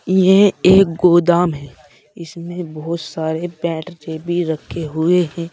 यह एक गोदाम है इसमें बहोत सारे भी रखे हुए हैं।